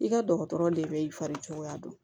I ka dɔgɔtɔrɔ de bɛ i fari cogoya dɔn